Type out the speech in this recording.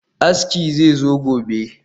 Aski zai zo gobe